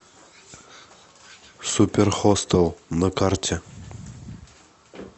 суперхостел на карте